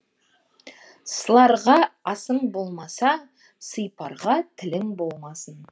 сыларға асың болмаса сыйпарға тілің болмасын